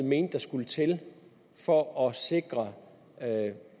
mente der skulle til for at sikre